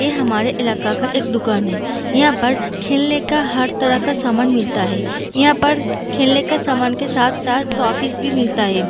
ये हमारे इलाके का एक दुकान है यहाँ पर खेलने का हर तरह का सामान मिलता है यहाँ पर खेलने के सामान के साथ-साथ टॉफीज़ भी मिलता है।